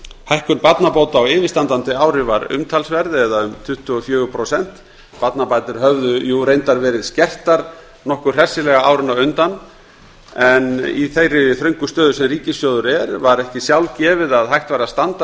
hækkun barnabóta á yfirstandandi ári var umtalsverð um tuttugu og fjögur prósent barnabætur höfðu reyndar verið skertar nokkuð hressilega árin á undan en í þeirri þröngu stöðu sem ríkissjóður er í var ekki sjálfgefið að hægt væri að standa